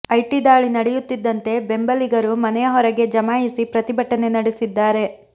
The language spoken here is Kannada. ಐಟಿ ದಾಳಿ ನಡೆಯುತ್ತಿದ್ದಂತೆ ಬೆಂಬಲಿಗರು ಮನೆಯ ಹೊರಗೆ ಜಮಾಯಿಸಿ ಪ್ರತಿಭಟನೆ ನಡೆಸಿದ್ದಾರೆ